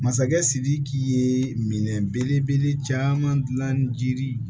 Masakɛ sidiki ye minɛ belebele caman dilan jiri